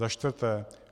Za čtvrté.